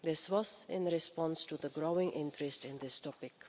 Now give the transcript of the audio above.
This was in response to the growing interest in the topic.